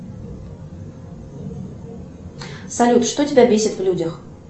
салют что тебя бесит в людях